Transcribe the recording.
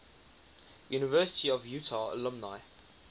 university of utah alumni